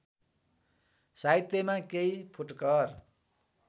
साहित्यमा केही फुटकर